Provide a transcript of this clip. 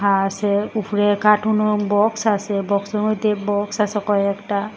আর আসে উপরে কাটুনও বক্স আসে বক্সের মধ্যে বক্স আসে কয়েকটা।